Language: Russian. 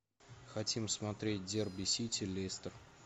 хотим смотреть дерби сити лестер